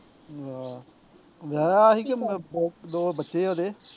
ਆਹ ਵਿਆਹਿਆ ਸੀ ਕਿ ਦੋ ਦੋ ਬੱਚੇ ਆ ਉਹਦੇ